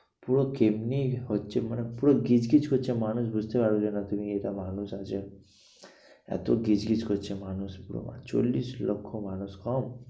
পুরো কেমনি হচ্ছে মানে পুরো গিজগিজ করছে মানুষ বুঝতে পারবে না যে তুমি এটা মানুষ আছে এত গিজগিজ করছে মানুষ চল্লিশ লক্ষ মানুষ কম?